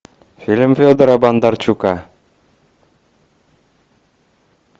фильм федора бондарчука